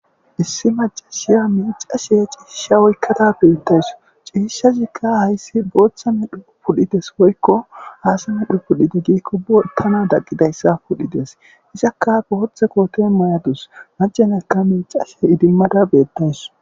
issi macashiya miicasheye cihisha woykkata beettays ciishazikka hayssi booththa medhu pudhites woykko aasa medho pudhite giikko botana daqqidayssa pudhides izakkafe hothe kooten may7adus macenekka miicashe idimmada beettays